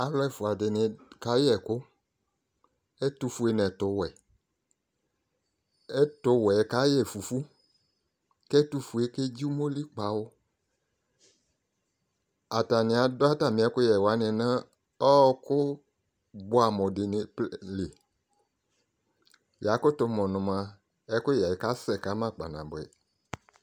alò ɛfua di ni ka yɛ ɛkò ɛtufue n'ɛtowɛ ɛtowɛ ka yɛ fufu k'ɛtufue kedzi umoli kpawò atani adu atami ɛkoyɛ wani no ɔkò boɛ amo di ni plɛ li ya kutò mo no moa ɛkoyɛ ka sɛ kama kpa naboɛ